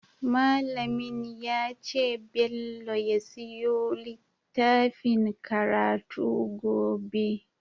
Mallamin yace bello ya siyo littfacin karatu gobe